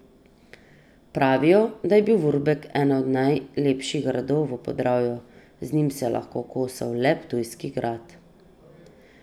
Pravijo, da je bil Vurberk eden od najlepših gradov v Podravju, z njim se je lahko kosal le Ptujski grad.